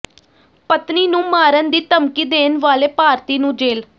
ਪਤਨੀ ਨੂੰ ਮਾਰਨ ਦੀ ਧਮਕੀ ਦੇਣ ਵਾਲੇ ਭਾਰਤੀ ਨੂੰ ਜੇਲ੍ਹ